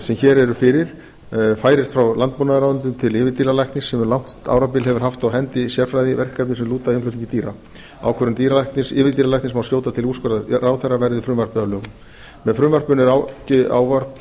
sem hér eru fyrir færist frá landbúnaðarráðuneytinu til yfirdýralæknis sem um langt árabil hefur haft á hendi sérfræðiverkefni sem lúta að innflutningi dýra ákvörðunum yfirdýralæknis má skjóta til úrskurðar ráðherra verði frumvarpið að lögum með frumvarpinu er áformað að